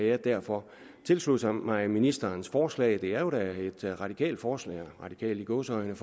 jeg derfor tilslutte mig ministerens forslag det er jo da et radikalt forslag radikalt i gåseøjne